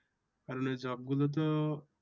আসলে job গুলোতো